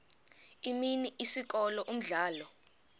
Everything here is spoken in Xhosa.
imini isikolo umdlalo